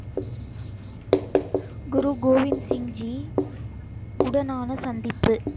குரு கோவிந்த் சிங் ஜி உடனான சந்திப்பு